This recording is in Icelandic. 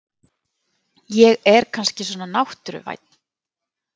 Ég er kannski svona náttúruvænn.